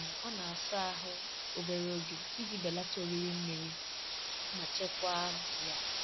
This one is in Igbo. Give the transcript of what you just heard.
um Ọ na-asa ahụ obere oge iji belata oriri mmiri ma chekwaa um ya